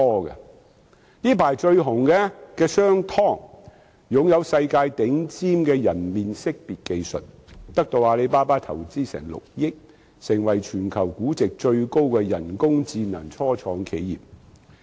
最近鋒頭一時無兩的商湯科技擁有世界頂尖人臉識別技術，得到阿里巴巴投資6億元，成為全球估值最高的人工智能初創企業。